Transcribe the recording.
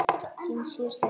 Þín síðasta kveðja.